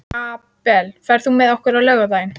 Abel, ferð þú með okkur á laugardaginn?